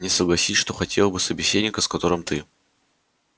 не согласись что хотел бы собеседника с которым ты